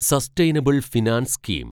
sustainable finance scheme